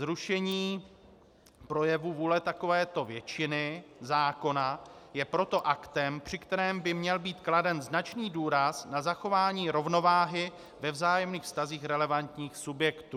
Zrušení projevu vůle takovéto většiny, zákona, je proto aktem, při kterém by měl být kladen značný důraz na zachování rovnováhy ve vzájemných vztazích relevantních subjektů.